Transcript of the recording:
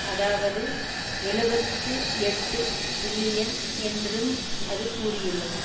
அதாவது எழுபத்து எட்டு பில்லியன் என்றும் அது கூறியுள்ளது